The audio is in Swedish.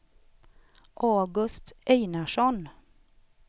August Einarsson